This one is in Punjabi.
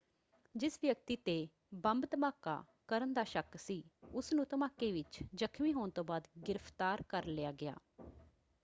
ਜਿਸ ਵਿਅਕਤੀ 'ਤੇ ਬੰਬ ਧਮਾਕਾ ਕਰਨ ਦਾ ਸ਼ੱਕ ਸੀ ਉਸਨੂੰ, ਧਮਾਕੇ ਵਿੱਚ ਜ਼ਖਮੀ ਹੋਣ ਤੋਂ ਬਾਅਦ ਗ੍ਰਿਫ਼ਤਾਰ ਕਰ ਲਿਆ ਗਿਆ।